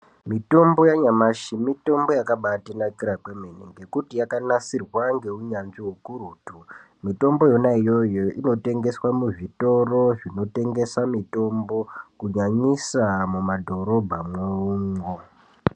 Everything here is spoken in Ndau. Mitombo yanyamashi mitombo yakabatinakira kwemene ngekuti Yakanasirwa ngeunyanzvi ukurutu mitombo yona iyoyo inotengeswa muzvitoro zvinotengeswa mitombo kunyanyisa mumadhorobhamwo.